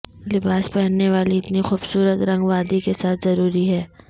لباس پہننے والی اتنی خوبصورت رنگ وادی کے ساتھ ضروری ہے